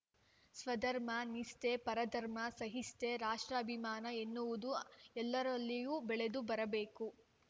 ಸ್ವಧರ್ಮ ನಿಷ್ಠೆ ಪರಧರ್ಮ ಸಹಿಷ್ಣತೆ ರಾಷ್ಟ್ರಾಭಿಮಾನ ಎನ್ನುವುದು ಎಲ್ಲರಲ್ಲಿಯೂ ಬೆಳೆದು ಬರಬೇಕು